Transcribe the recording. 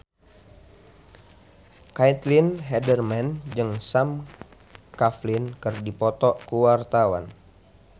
Caitlin Halderman jeung Sam Claflin keur dipoto ku wartawan